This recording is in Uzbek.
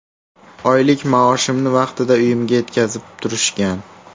Oylik maoshimni vaqtida uyimga yetkazib turishgan.